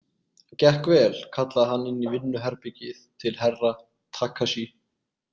Gekk vel, kallaði hann inn í vinnuherbergið til Herra Takashi.